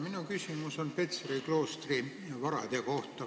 Minu küsimus on Petseri kloostri varade kohta.